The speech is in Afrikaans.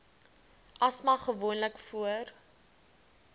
asma gewoonlik voor